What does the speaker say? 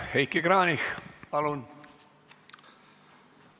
Heiki Kranich, palun!